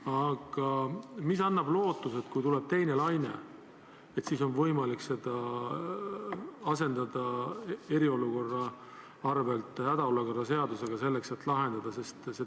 Aga mis annab lootuse, et kui tuleb teine laine, siis on eriolukorra seaduse asemel võimalik rakendada hädaolukorra seadust, et see olukord lahendada?